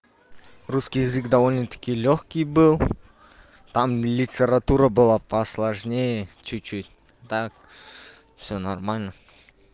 русский язык довольно-таки лёгкий был там литература была посложнее чуть-чуть так всё нормально